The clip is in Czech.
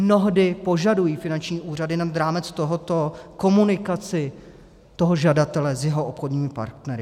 Mnohdy požadují finanční úřady nad rámec tohoto komunikaci toho žadatele s jeho obchodními partnery.